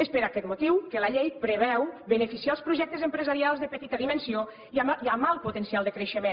és per aquest motiu que la llei preveu beneficiar els projectes empresarials de petita dimensió i amb alt potencial de creixement